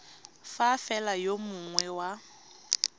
fa fela yo mongwe wa